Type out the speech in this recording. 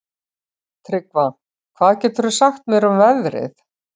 Tryggva, hvað geturðu sagt mér um veðrið?